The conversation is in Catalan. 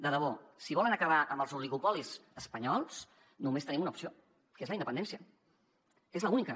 de debò si volen acabar amb els oligopolis espanyols només tenim una opció que és la independència és l’única